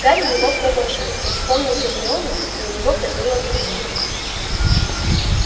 гарри не мог продолжать он вспомнил гермиону и у него кольнуло в груди